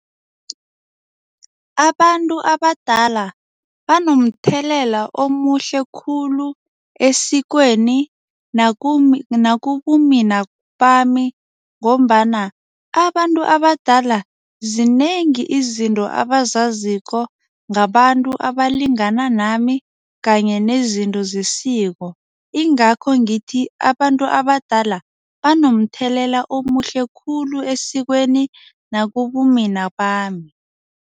Abantu abadala banomthelela omuhle khulu esikweni nakubumina bami ngombana, abantu abadala zinengi izinto abazazi ziko ngabantu abalingana nami kanye nezinto zesiko ingakho ngithi abantu abadala banomuthelela omuhle khulu esikweni nakubumina bami.